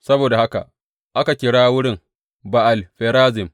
Saboda haka aka kira wurin Ba’al Ferazim.